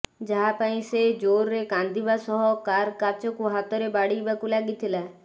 ଯାହା ପାଇଁ ସେ ଜୋରରେ କାନ୍ଦିବା ସହ କାର୍ର କାଚକୁ ହାତରେ ବାଡ଼େଇବାକୁ ଲାଗିଥିଲା